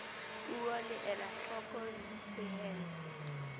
puo le ela hloko dipehelo